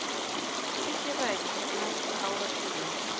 Hún var mikið rædd næstu áratugi.